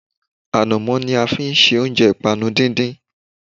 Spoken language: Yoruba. Ànàmó ní a fi ṣe oúnjẹ ìpanu díndín